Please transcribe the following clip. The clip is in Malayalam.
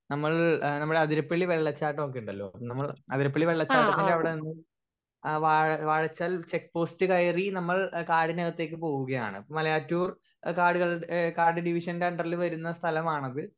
സ്പീക്കർ 1 നമ്മൾ ഏഹ് നമ്മളെ അതിരപ്പളി വെള്ളച്ചാട്ടൊക്കെണ്ടലോ നമ്മൾ അതിരപ്പളി വെള്ളച്ചാട്ടത്തിന്റെ അവിടെന്നും ഏഹ് വാഴ വാഴച്ചാൽ ചെക്ക് പോസ്റ്റ് കയറി നമ്മൾ കാടിനകത്തേക്ക് പോവുകയാണ് മലയാറ്റൂർ കാടുകൾ ഏഹ് കാട് ഡിവിഷന്റെ അണ്ടർൽ വരുന്ന സ്ഥലമാണത്